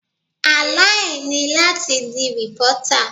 Àlá e ni láti di reporter.